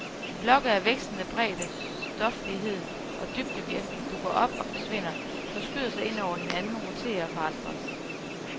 Blokke af vekslende bredde, stoflighed og dybdevirkning dukker op og forsvinder, forskyder sig ind over hinanden, roterer og forandres.